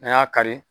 N'an y'a kari